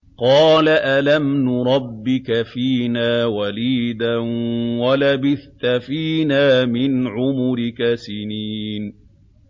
قَالَ أَلَمْ نُرَبِّكَ فِينَا وَلِيدًا وَلَبِثْتَ فِينَا مِنْ عُمُرِكَ سِنِينَ